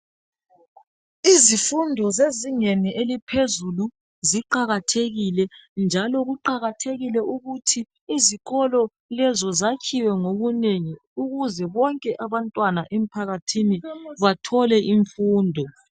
Izifundo zezingeni eliphezulu ziqakathekile njalo kuqakathekile ukuthi izikolo lezo zakhiwe ngobunengi ukuze bonke abantwana bemphakathini bathole imfundo.